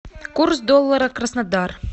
курс доллара краснодар